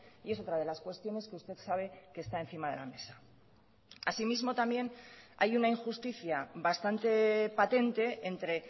y es otra de las cuestiones que usted sabe que está encima de la mesa así mismo también hay una injusticia bastante patente entre